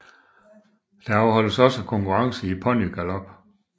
Der afholdes også konkurrencer i ponygalop